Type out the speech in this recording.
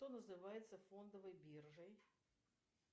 что называется фондовой биржей